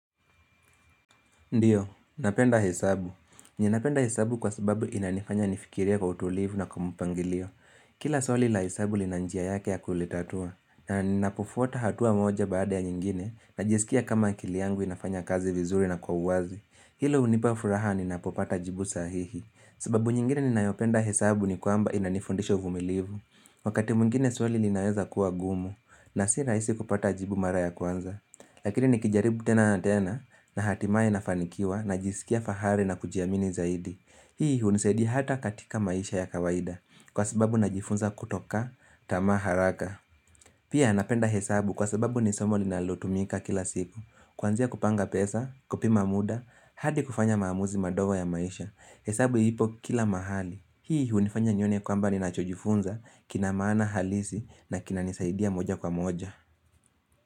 Ndio, napenda hesabu. Ninapenda hesabu kwa sababu inanifanya nifikirie kwa utulivu na kwa mpangilio. Kila swali la hesabu lina njia yake ya kulitatua. Na ninapofuata hatua moja baada ya nyingine najisikia kama akili yangu inafanya kazi vizuri na kwa uwazi. Hilo hunipa furaha ninapopata jibu sahihi. Sababu nyingine ninayopenda hesabu ni kwamba inanifundisha uvumilivu. Wakati mwngine swali linaweza kuwa gumu na si rahisi kupata jibu mara ya kwanza. Lakini nikijaribu tena na tena na hatimaye nafanikiwa najisikia fahari na kujiamini zaidi. Hii hunisaidi hata katika maisha ya kawaida kwa sababu najifunza kutokata tamaa haraka Pia napenda hesabu kwa sababu ni somo linalotumika kila siku, kuanzia kupanga pesa, kupima muda, hadi kufanya maamuzi madogo ya maisha. Hesabu ipo kila mahali. Hii hunifanya nione kwamba ninacho jifunza kina maana halisi na kinanisaidia moja kwa moja.